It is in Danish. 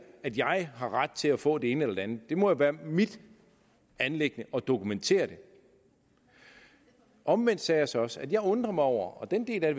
at jeg har ret til at få det ene eller det andet det må jo være mit anliggende at dokumentere det omvendt sagde jeg så også at jeg undrer mig over og den del af